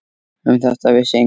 Um þetta vissi enginn.